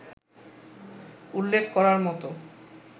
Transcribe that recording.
উল্লেখ করার মতো